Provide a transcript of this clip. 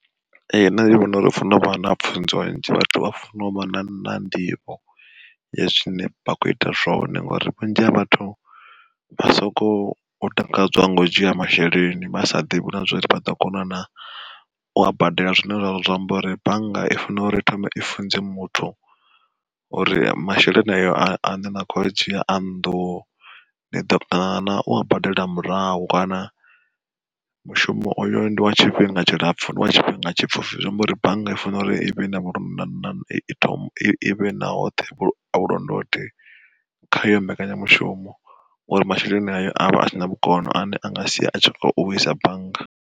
Ee nṋe ndi vhona uri funa uvha na pfunzo nnzhi vhathu vha funa u vha na nḓivho, ya zwine vha kho ita zwone. Ngori vhunzhi ha vhathu vha soko takadzwa ngo dzhia masheleni, vha sa ḓivhi na zwori vha ḓo kona na ua badela zwine zwa amba uri bannga i funa uri i thome i funze muthu, uri masheleni ayo a ne na kho adzhi a nnḓu niḓo kona na ua badela murahu kana mushumo oyo ndi wa tshifhinga tshilapfu ndi wa tshifhinga tshipfufhi zwi amba uri bannga i fanela uri i vhe na vhulondoti khayo mbekanyamushumo ngori masheleni ayo avha a si na vhukono ane anga sia a khou wisa bannga.